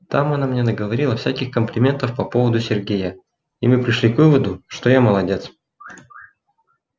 там она мне наговорила всяких комплиментов по поводу сергея и мы пришли к выводу что я молодец